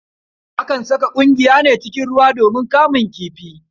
Akan saka ƙungiya cikin ruwa ne domin kamun kifi.